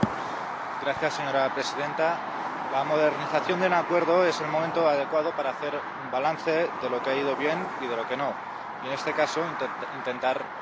Señora presidenta, la modernización de un acuerdo es el momento adecuado para hacer un balance de lo que ha ido bien y de lo que no y, en este caso, intentar remediarlo.